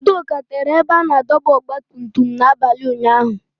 Udoka tere ebe a na-adọba ọgba tum tum n'abalị ụnyaahụ